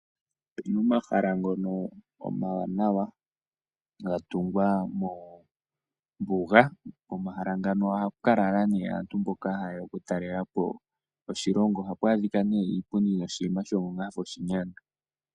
Omahala ngono omawanawa gatungwa mombuga. Komahala ngano ohaku lala nee aantu mboka hayeya oku talelapo oshilongo. Ohapu adhika nee oshipundi noshi Nima shafa oshinyanga.